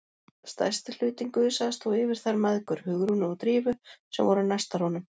Stærsti hlutinn gusaðist þó yfir þær mæðgur, Hugrúnu og Drífu, sem voru næstar honum.